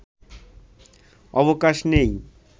অবকাশ নেই